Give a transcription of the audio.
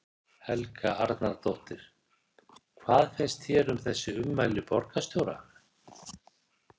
Helga Arnardóttir: Hvað finnst þér um þessi ummæli borgarstjóra?